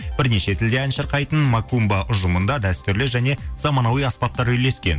бірнеше тілде ән шырқайтын макумба ұжымында дәстүрлі және заманауи аспаптар үйлескен